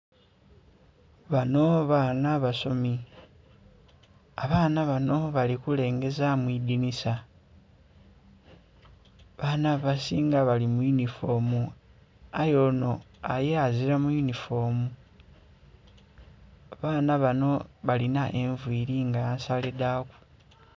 Bano baana basomi. Abaana bano bali kulengeza mu idinisa. Abaana abasinga bali mu yunifoomu aye onho ye azila mu yunifoomu. Abaana bano balina enviili nga nsale dhaku.